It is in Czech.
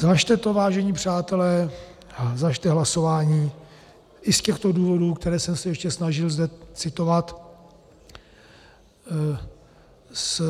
Zvažte to, vážení přátelé, zvažte hlasování i z těchto důvodů, které jsem se ještě snažil zde citovat z